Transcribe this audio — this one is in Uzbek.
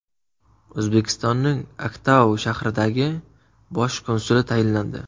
O‘zbekistonning Aktau shahridagi bosh konsuli tayinlandi.